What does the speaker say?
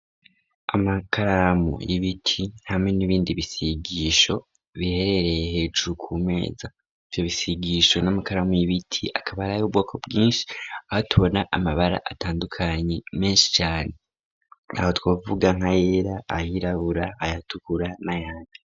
Amakaramu y'ibiti, hamwe n'ibindi bisigisho ,biherereye hejuru ku meza ,vyo bisigisho n'amakaramu y'ibiti ,akaba aray' ubwoko bwinshi, aho tubona Amabara atandukanye menshi cane, aho twavuga nka yera ,ayirabura ,ayatukura ,n'ayandi.